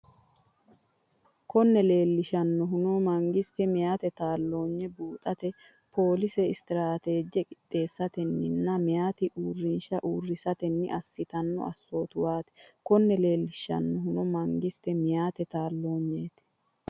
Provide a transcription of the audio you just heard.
Konne leellishannohuno mangiste meyaate taal- loonye buuxate poolise, stiraateeje qixxeessatenninna meyaate uurrinshu- uurrisatenni assitanno assootuwaati Konne leellishannohuno mangiste meyaate taal-.